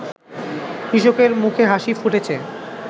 কৃষকের মুখে হাসি ফুটেছে